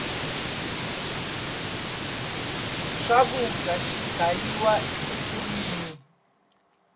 swakudya si gayiwa ekhwirini